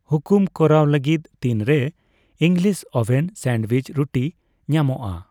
ᱦᱩᱠᱩᱢ ᱠᱚᱨᱟᱣ ᱞᱟᱹᱜᱤᱫ ᱛᱤᱱᱨᱮ ᱤᱝᱜᱞᱤᱥ ᱳᱵᱷᱮᱱ ᱥᱟᱱᱚᱰᱭᱩᱤᱡ ᱨᱩᱴᱤ ᱧᱟᱢᱚᱜᱼᱟ ?